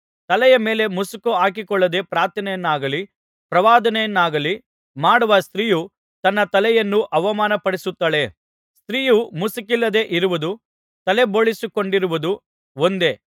ತಲೆಯ ಮೇಲೆ ಮುಸುಕು ಹಾಕಿಕೊಳ್ಳದೆ ಪ್ರಾರ್ಥನೆಯನ್ನಾಗಲಿ ಪ್ರವಾದನೆಯನ್ನಾಗಲಿ ಮಾಡುವ ಸ್ತ್ರೀಯು ತನ್ನ ತಲೆಯನ್ನು ಅವಮಾನಪಡಿಸುತ್ತಾಳೆ ಸ್ತ್ರೀಯು ಮುಸುಕಿಲ್ಲದೆ ಇರುವುದೂ ತಲೆಬೋಳಿಸಿಕೊಂಡಿರುವುದೂ ಒಂದೇ